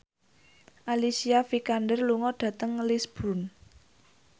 Alicia Vikander lunga dhateng Lisburn